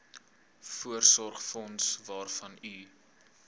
voorsorgsfonds waarvan u